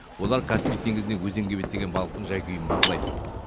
олар каспий теңізінен өзенге беттеген балықтың жай күйін бақылайды